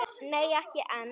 Nei ekki enn.